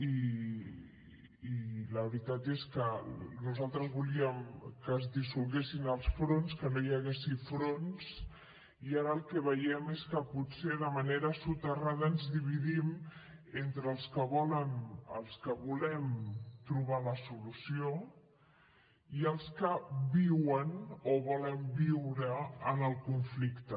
i la veritat és que nosaltres volíem que es dissolguessin els fronts que no hi hagués fronts i ara el que veiem és que potser de manera soterrada ens dividim entre els que volen els que volem trobar la solució i els que viuen o volen viure en el conflicte